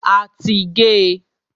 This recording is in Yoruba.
A ti gé e.